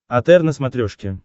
отр на смотрешке